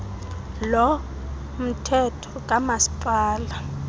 lo mthetho kamasipala